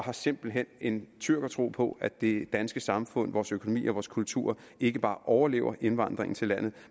har simpelt hen en tyrkertro på at det danske samfund vores økonomi og vores kultur ikke bare overlever indvandringen til landet